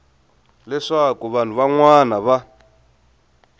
leswaku vanhu van wana va